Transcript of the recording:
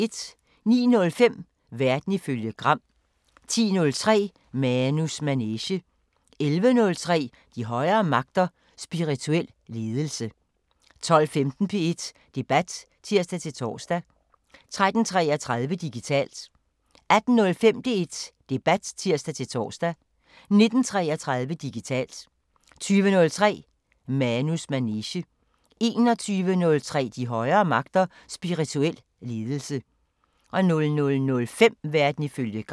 09:05: Verden ifølge Gram 10:03: Manus manege 11:03: De højere magter: Spirituel ledelse 12:15: P1 Debat (tir-tor) 13:33: Digitalt 18:05: P1 Debat (tir-tor) 19:33: Digitalt 20:03: Manus manege 21:03: De højere magter: Spirituel ledelse 00:05: Verden ifølge Gram